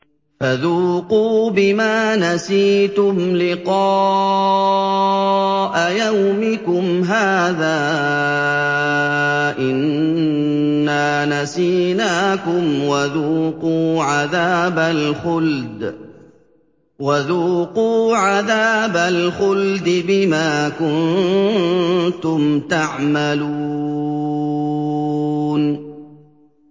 فَذُوقُوا بِمَا نَسِيتُمْ لِقَاءَ يَوْمِكُمْ هَٰذَا إِنَّا نَسِينَاكُمْ ۖ وَذُوقُوا عَذَابَ الْخُلْدِ بِمَا كُنتُمْ تَعْمَلُونَ